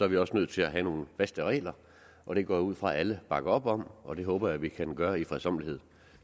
vi også nødt til at have nogle faste regler og det går jeg ud fra alle bakker op om og det håber jeg vi kan gøre i fredsommelighed